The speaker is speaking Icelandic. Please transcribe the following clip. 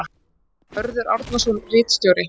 Mörður Árnason ritstjóri.